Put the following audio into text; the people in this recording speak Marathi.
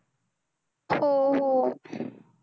हो हो.